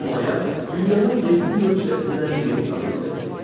Bu mayak dünyanın yeddi möcüzəsindən biri hesab edilirdi.